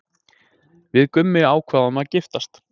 Við Gummi ákváðum að giftast.